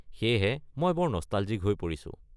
সেয়েহে মই বৰ নষ্টালজিক হৈ পৰিছো।